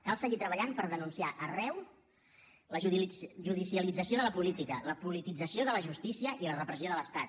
cal seguir treballant per denunciar arreu la judicialització de la política la politització de la justícia i la repressió de l’estat